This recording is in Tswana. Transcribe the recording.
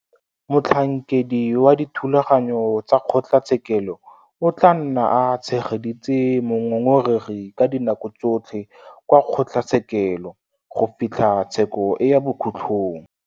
Motlhankedi wa dithulaganyo tsa kgotlatshekelo o tla nna a tshegeditse mongongoregi ka dinako tsotlhe kwa kgotlatshekelo go fitlha tsheko e ya bokhutlong.